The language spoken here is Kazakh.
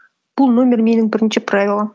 бұл номер менің бірінші правилам